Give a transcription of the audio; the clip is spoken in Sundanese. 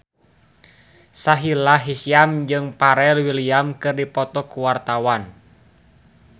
Sahila Hisyam jeung Pharrell Williams keur dipoto ku wartawan